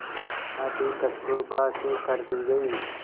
शादी कस्तूरबा से कर दी गई